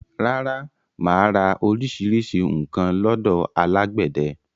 Rárá, mà á ra orísirísi nǹkan lọ́dọ̀ alágbẹ̀dẹ